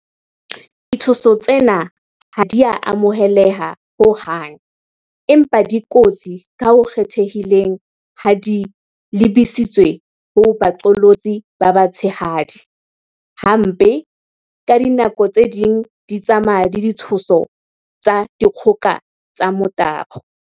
Ditshoso tsena ha di a amoheleha ho hang, empa di kotsi ka ho kgethehileng ha di lebisitswe ho baqolotsi ba ba tshehadi, hape, ka dinako tse ding di tsamaya le ditshoso tsa dikgoka tsa tsa motabo.